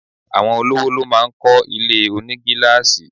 Àwọn olówò ló máá ń kọ́ ilé onigilaasi